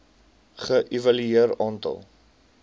ge evalueer aantal